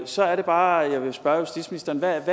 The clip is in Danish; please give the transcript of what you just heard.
så er det bare jeg vil spørge justitsministeren hvad